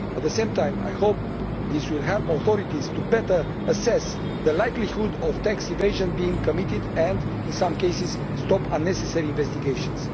At the same time I hope this will help authorities to better assess the likelihood of tax evasion being committed and, in some cases, stop unnecessary investigations.